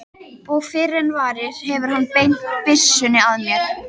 Og fyrr en varir hefur hann beint byssunni að mér.